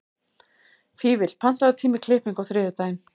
Fífill, pantaðu tíma í klippingu á þriðjudaginn.